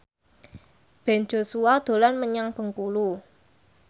Ben Joshua dolan menyang Bengkulu